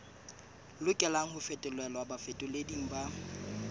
lokelang ho fetolelwa bafetoleding ba